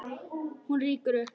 Hún rýkur upp.